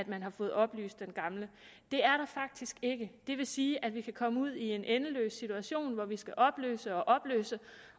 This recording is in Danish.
man har fået opløst den gamle det er der faktisk ikke det vil sige at vi kan komme ud i en endeløs situation hvor vi skal opløse og opløse